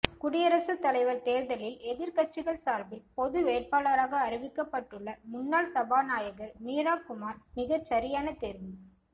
குடியரசுத் தலைவர் தேர்தலில் எதிர்கட்சிகள் சார்பில் பொது வேட்பாளராக அறிவிக்கப்பட்டுள்ள முன்னாள் சபாநாயகர் மீரா குமார் மிகச்சரியான தேர்வு